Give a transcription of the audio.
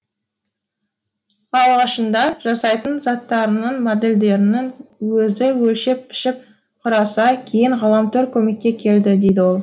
алғашында жасайтын заттарының модельдерін өзі өлшеп пішіп құраса кейін ғаламтор көмекке келді дейді ол